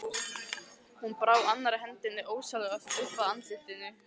Hún brá annarri hendinni ósjálfrátt upp að andlitinu.